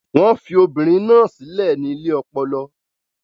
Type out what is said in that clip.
Wọ́n fi obìnrin náà sílẹ̀ ní ilé ọpọlọ.